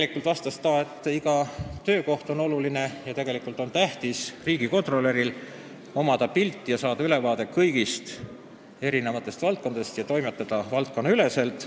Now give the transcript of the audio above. Janar Holm vastas, et iga töökoht on oluline ning tegelikult on tähtis, et riigikontrolör saaks pildi ja ülevaate kõigilt elualadelt ja toimetaks valdkonnaüleselt.